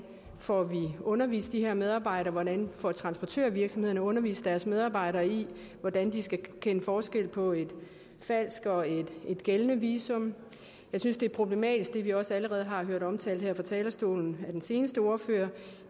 får undervist de her medarbejdere hvordan transportørvirksomhederne får undervist deres medarbejdere i hvordan de skal kende forskel på et falsk og et gældende visum jeg synes det er problematisk hvad vi også allerede har hørt omtalt her fra talerstolen af den seneste ordfører